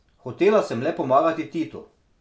Hotela sem le pomagati Titu.